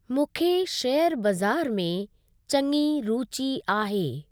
मूंखे शेयर बज़ारि में चङी रुचि आहे।